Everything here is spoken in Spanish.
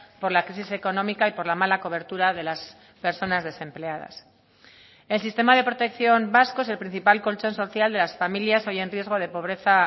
por la crisis económica y por la mala cobertura de las personas desempleadas el sistema de protección vasco es el principal colchón social de las familias hoy en riesgo de pobreza